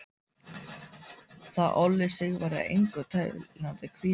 Það olli Sigvarði engum teljandi kvíða.